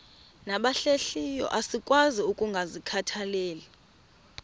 nabahlehliyo asikwazi ukungazikhathaieli